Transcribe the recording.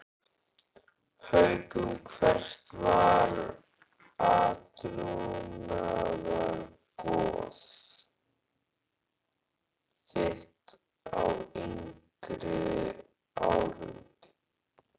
Haukum Hvert var átrúnaðargoð þitt á yngri árum?